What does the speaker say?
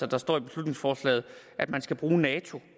der står i beslutningsforslaget at man skal bruge nato